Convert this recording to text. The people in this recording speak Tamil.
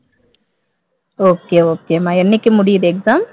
okay okay மா என்னைக்கு முடியுது exam